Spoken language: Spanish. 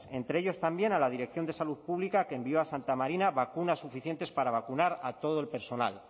entre ellos también a la dirección de salud pública que envió a santa marina vacunas suficientes para vacunar a todo el personal